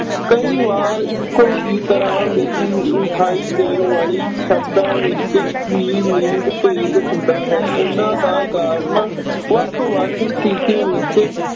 ਕਈ ਵਾਰ ਇੱਕੋ ਹੀ ਤਰ੍ਹਾਂ ਦੀ ਵਿਖਾਈ ਦੇਣ ਵਾਲੀ ਸ਼ਬਦਾਂ ਵਿੱਚ ਲਿੰਗ ਭੇਦ ਹੁੰਦਾ ਹੈ। ਉਨ੍ਹਾਂ ਦਾ ਕਾਰਣ ਵੱਖ-ਵੱਖ ਸਥਿਤੀਆਂ ਵਿੱਚ